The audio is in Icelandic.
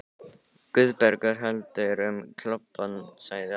Guðbergur heldur um klobbann, sagði Abba hin.